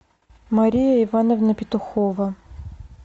мария ивановна петухова